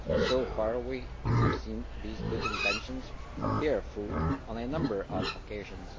So far, we have seen these good intentions bear fruit on a number of occasions.